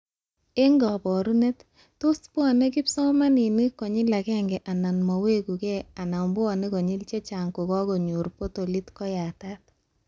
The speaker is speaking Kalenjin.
Eng kabarunet, tos bwanee kipsomanink konyli ageng ak mawekuke anan bane konyil chechang kokakonyor portolit koyatat